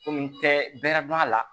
Komi n tɛ bɛrɛ dɔn a la